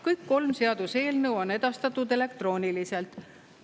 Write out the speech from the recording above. Kõik kolm seaduseelnõu on edastatud elektrooniliselt.